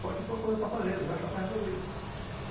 Só que isso é uma coisa passageira, já já vai resolver isso.